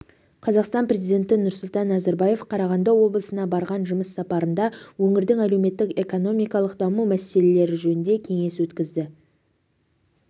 қазақстан президенті нұрсұлтан назарбаев қарағанды облысына барған жұмыс сапарында өңірдің әлеуметтік-экономикалық даму мәселелері жөнінде кеңес өткізді